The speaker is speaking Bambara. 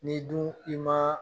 N'i dun i ma